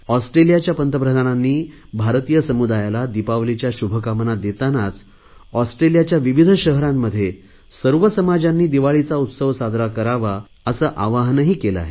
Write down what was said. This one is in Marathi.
ऑस्ट्रेलियाच्या पंतप्रधानांनी भारतीय समुदायाला दिपावलीच्या शुभकामना देतानाच ऑस्ट्रेलियाच्या विविध शहरांमध्ये सर्व समाजांनी दिवाळीचा उत्सव साजरा करावा असे आवाहनही केले आहे